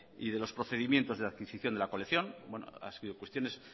y de los procedimientos de adquisición de la colección han sido cuestiones